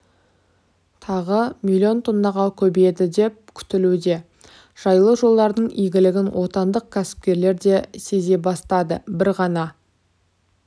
тағы миллион тоннаға көбейеді деп күтілуде жайлы жолдардың игілігін отандық кәсіпкерлерде сезе бастады бір ғана